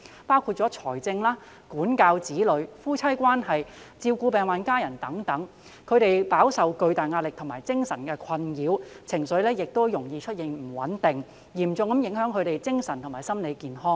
他們在財政、管教子女、夫妻關係、照顧病患家人等方面飽受巨大的壓力和精神困擾，情緒容易不穩，嚴重影響他們的精神和心理健康。